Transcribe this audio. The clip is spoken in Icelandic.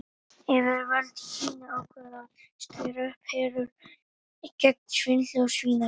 Yfirvöld í Kína ákváðu að skera upp herör gegn svindli og svínaríi.